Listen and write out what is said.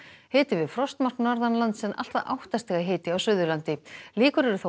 hiti við frostmark norðanlands en allt að átta stiga hiti á Suðurlandi líkur eru þó